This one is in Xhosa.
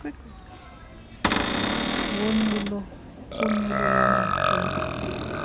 wonyulo kunyulo lwamaqela